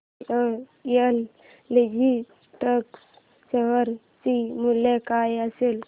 VRL logistics share चे मूल्य काय असेल